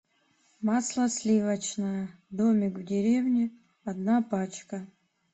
масло сливочное домик в деревне одна пачка